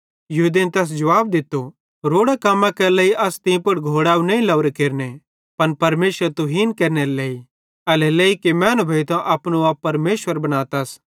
यहूदेईं तैस जुवाब दित्तो रोड़ां कम्मां केरे लेइ अस तीं पुड़ घोड़ैव नईं केरने लावरे पन परमेशरेरी तुहीन केरनेरे लेइ एल्हेरेलेइ कि मैनू भोइतां अपनो आप परमेशर बनातस